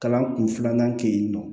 Kalan kun filanan kɛ yen nɔ